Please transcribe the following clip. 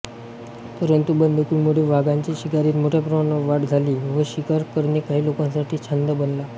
परंतु बंदुकीमुळे वाघांच्या शिकारीत मोठ्या प्रमाणावर वाढ झाली व शिकार करणे काही लोकांसाठी छंद बनला